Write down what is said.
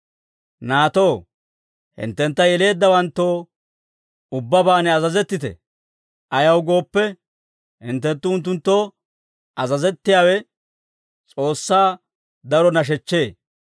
Naatoo, hinttentta yeleeddawanttoo ubbabaan azazettite. Ayaw gooppe, hinttenttu unttunttoo azazettiyaawe S'oossaa daro nashechchee.